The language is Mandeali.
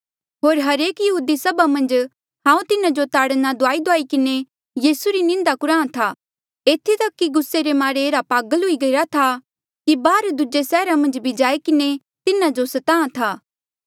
होर हरेक यहूदी सभा मन्झ हांऊँ तिन्हा जो ताड़ना दुआईदुआई किन्हें यीसू री निंदा कुराहां था एथी तक कि गुस्से रे मारे एह्ड़ा पागल हुई गया कि बाहर दूजे सैहरा मन्झ भी जाई किन्हें तिन्हा जो स्ताहां था